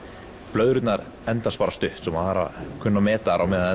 blöðrurnar endast bara stutt svo maður þarf að kunna að meta þær á meðan þær